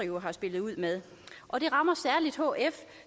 jo har spillet ud med og det rammer særlig hf